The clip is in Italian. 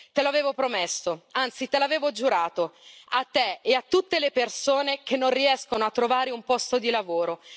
Te l'avevo promesso, anzi te l'avevo giurato, a te e a tutte le persone che non riescono a trovare un posto di lavoro.